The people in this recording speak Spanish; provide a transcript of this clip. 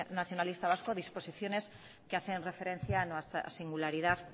nacionalista vasco disposiciones que hacen referencia a nuestra singularidad